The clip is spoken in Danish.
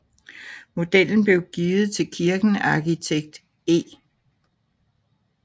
Modellen blev givet til kirken af arkitekt E